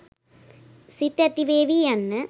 සිත් ඇතිවේවි යන්න